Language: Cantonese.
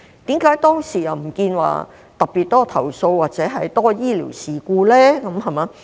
為何當時又不見有特別多投訴或較多醫療事故呢？